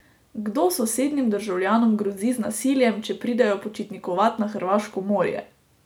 Kdo sosednjim državljanom grozi z nasiljem, če pridejo počitnikovat na hrvaško morje?